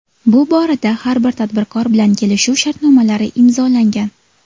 Bu borada har bir tadbirkor bilan kelishuv shartnomalari imzolangan.